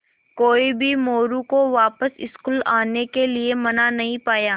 कोई भी मोरू को वापस स्कूल आने के लिये मना नहीं पाया